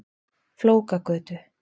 Flókagötu